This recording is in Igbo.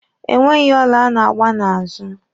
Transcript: E nweghi ọla a na-agba n'azụ.